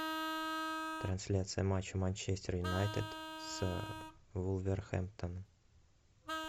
трансляция матча манчестер юнайтед с вулверхэмптон